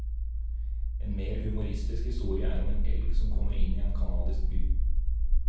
En mer humoristisk historie er om en elg som kommer inn i en canadisk by.